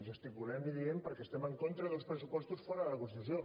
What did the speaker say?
gesticulem i diem perquè estem en contra d’uns pressupostos fora de la constitució